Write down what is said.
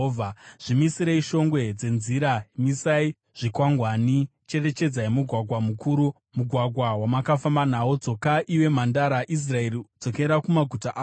“Zvimisirei shongwe dzenzira; misai zvikwangwani. Cherechedzai mugwagwa mukuru, mugwagwa wamunofamba nawo. Dzoka, iwe Mhandara Israeri, dzokera kumaguta ako.